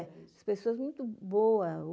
É, as pessoas muito boas.